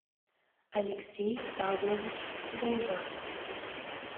алексей павлович гайвазов